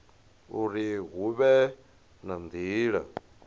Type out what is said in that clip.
uri hu vhe na nila